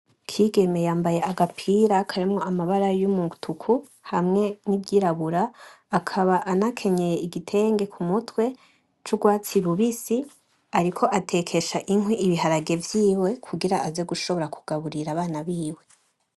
Ikigeme yambaye agapira karimo amabara y’umutuku hamwe n’iryirabura, akaba anakenyeye igitenge ku mutwe c’ubwatsi bubisi ariko atekesha inkwi ibiharage vyiwe kugira aze gushobora kugaburira abana biwe.